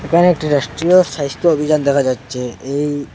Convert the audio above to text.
এখানে একটি রাষ্ট্রীয় স্বাইস্থ্য অভিযান দেখা যাচ্ছে এই--